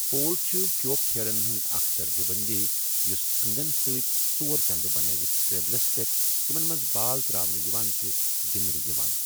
پول چُھ كِیوٗ كھلن ہنز اكھ درجہٕ بندی یُس اندن سۭتۍ ژور چندٕ بنٲوِتھ ٹیبلس پیٹھ ، یِمن منز بال تر٘اونہٕ یوان چھِ، گِندنہٕ یوان ۔